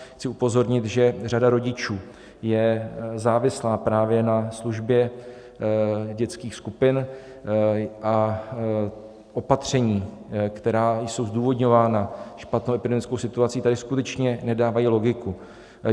Chci upozornit, že řada rodičů je závislá právě na službě dětských skupin a opatření, která jsou zdůvodňována špatnou epidemickou situací, tady skutečně nedávají logiku.